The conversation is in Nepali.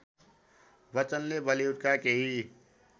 बच्चनले बलिउडका केही